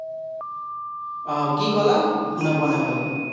আহ কি কলা? শুনা পোৱা নাই ভালকে।